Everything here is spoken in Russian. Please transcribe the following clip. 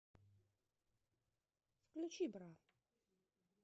включи бра